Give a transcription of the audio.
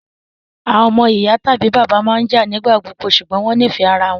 àwọn omo iya tabi bàbá maa n jạ nigbagbogbo ṣugbọn wọn nifẹ ara wọn